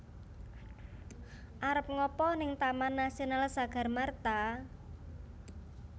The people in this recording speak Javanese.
Arep ngapa ning Taman Nasional Sagarmartha?